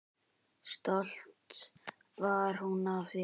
Stolt var hún af þeim.